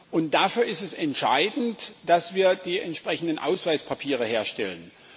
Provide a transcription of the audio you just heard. Und dafür ist es entscheidend, dass wir die entsprechenden Ausweispapiere herstellen.